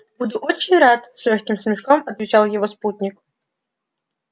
буду очень рад с лёгким смешком отвечал его спутник